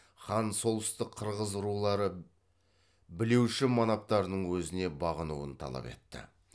хан солтүстік қырғыз рулары білеуші манаптарының өзіне бағынуын талап етті